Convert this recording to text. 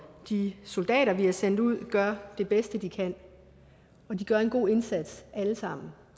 de soldater vi har sendt ud gør det bedste de kan de gør en god indsats alle sammen